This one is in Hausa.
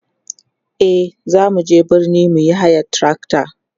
e zamu je birni muyi hayan trakta